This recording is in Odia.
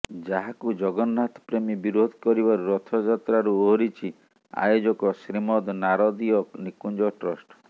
ଯାହାକୁ ଜଗନ୍ନାଥ ପ୍ରେମି ବିରୋଧ କରିବାରୁ ରଥଯାତ୍ରାରୁ ଓହରିଛି ଆୟୋଜକ ଶ୍ରୀମଦ ନାରଦୀୟ ନିକୁଞ୍ଜ ଟ୍ରଷ୍ଟ